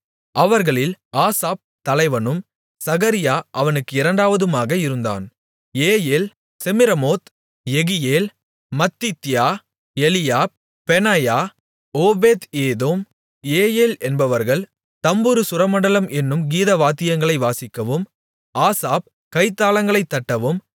அவர்களில் ஆசாப் தலைவனும் சகரியா அவனுக்கு இரண்டாவதுமாக இருந்தான் Jeiel Shemiramoth Jehiel Mattithiah Eliab Benaiah Obed Edom Jeiel என்பவர்கள் தம்புரு சுரமண்டலம் என்னும் கீதவாத்தியங்களை வாசிக்கவும் ஆசாப் கைத்தாளங்களை தட்டவும்